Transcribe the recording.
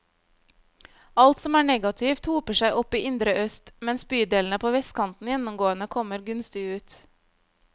Alt som er negativt, hoper seg opp i indre øst, mens bydelene på vestkanten gjennomgående kommer gunstig ut.